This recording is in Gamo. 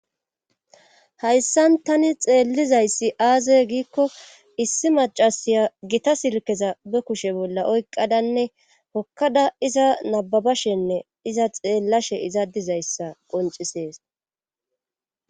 hayssan tani xeellizayssi aaze giikko issi macasiya gita silkeza be kushe bolla oyqadanne hokkada iza nababashenne iza xeellashe iza dizayssa qoncisees